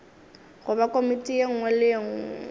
goba komiti ye nngwe le